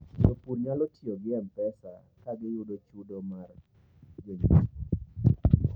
jopur nyalo tiyo mpesa kagiyudo chudo mar mag jonyiepo